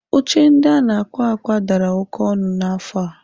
Oche ndị a na-akwa akwa dara oke ọnụ n'afọ a.